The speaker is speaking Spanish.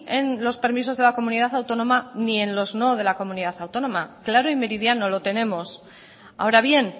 en los permisos de la comunidad autónoma y en los no de la comunidad autónoma claro y meridiano lo tenemos ahora bien